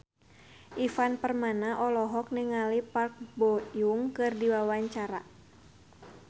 Ivan Permana olohok ningali Park Bo Yung keur diwawancara